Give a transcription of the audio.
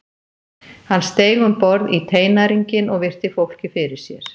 Hann steig um borð í teinæringinn og virti fólkið fyrir sér.